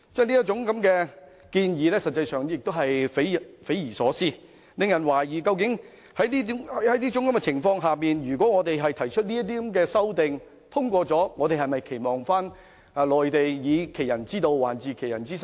這種建議實際上匪夷所思，令人懷疑在這種情況下，如果我們提出的修正案獲得通過，我們是否期望內地會以其人之道還治其人之身？